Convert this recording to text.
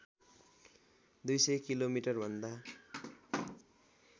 २०० किलोमिटरभन्दा